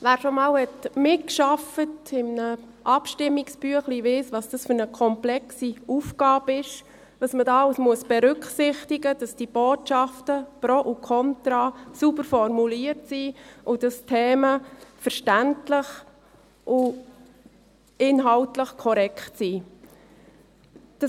Wer schon einmal an einem Abstimmungsbüchlein mitgearbeitet hat, weiss, wie komplex diese Aufgabe ist, was alles berücksichtigt werden muss, damit die Botschaften mit Pro und Kontras sauber formuliert sind und dass die Themen verständlich und inhaltlich korrekt sind.